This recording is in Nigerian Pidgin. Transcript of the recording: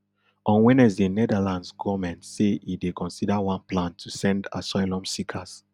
on wednesday netherlands goment say e dey consider one plan to send asylum seekers